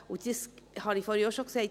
Dies habe ich vorhin auch schon gesagt: